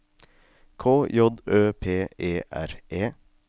K J Ø P E R E